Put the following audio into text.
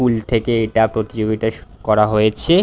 School থেকে এটা প্রতিযোগিতা শুঃ করা হয়েছে।